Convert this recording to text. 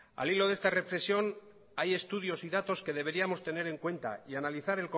al hilo de esta reflexión hay estudios y datos que deberíamos tener en cuenta y analizar